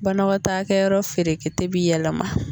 Banakɔtaakɛyɔrɔ ferekete bi yɛlɛma